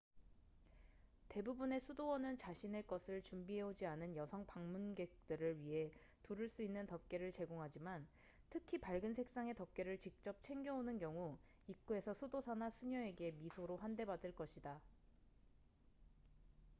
대부분의 수도원은 자신의 것을 준비해오지 않은 여성 방문객들을 위해 두를 수 있는 덮개를 제공하지만 특히 밝은 색상의 덮개를 직접 챙겨 오는 경우 입구에서 수도사나 수녀에게 미소로 환대 받을 것이다